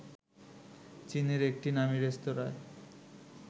চীনের একটি নামি রেস্তোরাঁয়